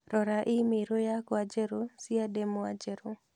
Rora i-mīrū yakwa njerũ cia ndemwa njerũ